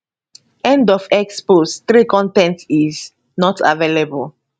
end of x post 3 con ten t is not available